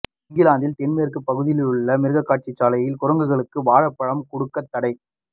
இங்கிலாந்தின் தென் மேற்குப் பகுதிலுள்ள மிருகக்காட்சிசாலையில் குரங்குகளுக்கு வாழைப்பழம் கொடுக்கத் தடை